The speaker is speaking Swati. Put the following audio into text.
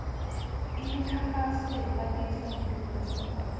imikhankhaso yekwatisa ngeluwimi